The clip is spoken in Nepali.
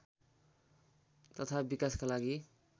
तथा विकासका लागि